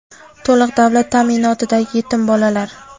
to‘liq davlat ta’minotidagi yetim bolalar;.